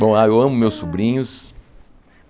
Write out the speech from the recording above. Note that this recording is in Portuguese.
Bom, ah eu amo meus sobrinhos.